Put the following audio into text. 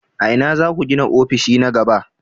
A ina za ku gina ofishi na gaba?